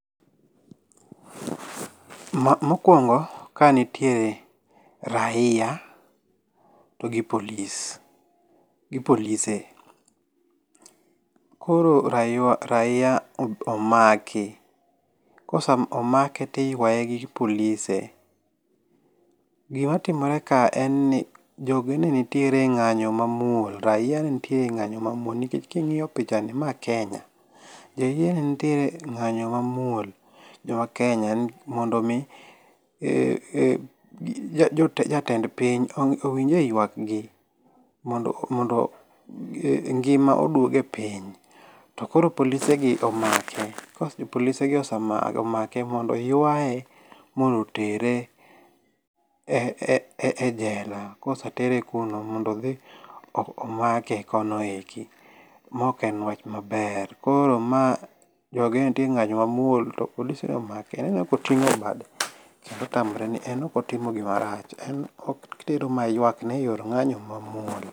Mokuongo, Kae nitie raia gi police polise. Koro raia omaki, kosemake to iyuaye gi polise. Gimatimore kae en ni jogi nenitie e ng'anyo mamuol. Raia ne nitiere e ng'anyo mamuol. Nikech king'iyo pichani ma Kenya, raia ne nitiere e ng'anyo mamuol ma Kenya mondo mi jatend piny owinjie owinje yuakgi mondo ngima oduoge piny. To koro polisegi omake to to ka polise gin osemake mondo yuaye mondo otere e ejela kosetere kuno mondo dhi omake kono eko maok en wach maber koro, ma jogi ne nitie e ng'anyo mamuol to koro polisegi omake koting'o bade en ok otimo gima rach otero mana ng'anyone eyo mamuol.